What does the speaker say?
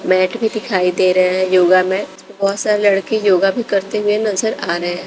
Mat भी दिखाई दे रहे हैं योगा में बहुत सारे लड़के योगा भी करते हुए नजर आ रहे हैं।